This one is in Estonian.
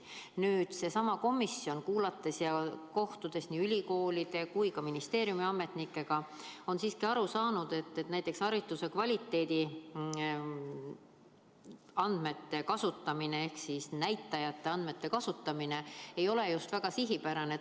Samas olen sellessamas komisjonis nii ülikoolide kui ka ministeeriumi ametnikega kohtudes siiski aru saanud, et hariduse kvaliteedi andmete kasutamine ei ole kuigi sihipärane.